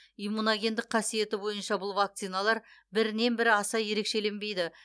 иммуногендік қасиеті бойынша бұл вакциналар бірінен бірі аса ерекшеленбейді